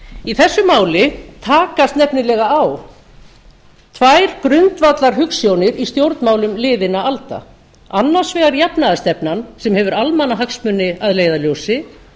í þessu máli takast nefnilega á tvær grundvallarhugsjónir í stjórnmálum liðinna alda annars vegar jafnaðarstefnan sem hefur almannahagsmuni að leiðarljósi